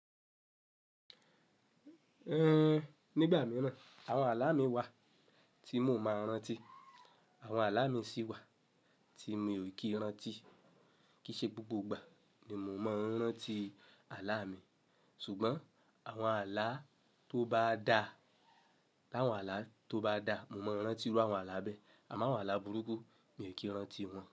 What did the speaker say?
Nígbà mìíràn àwọn ààlà mi wà tí mò máa ń rántí, àwọn ààlà mi sì wà tí mi ò kí ń rántí. Kìí ṣe gbogbo ìgbà ni mò máa ń rántí ààlà mi. Ṣùgbọ́n àwọn ààlà tó bá dá, láwọn ààlà tó bá dá, mò máa ń rántí irú àwọn ààlà bẹ́ẹ̀. Àmọ́ àwọn ààlà burúkú, mi ò kí ń rántí wọn.